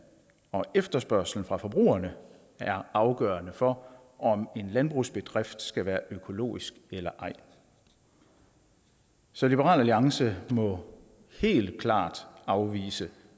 og efterspørgslen fra forbrugerne der er afgørende for om en landbrugsbedrift skal være økologisk eller ej så liberal alliance må helt klart afvise